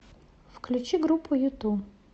включи группу юту